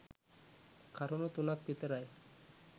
කරුණු තුනක් විතරයි.